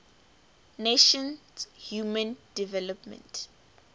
nations human development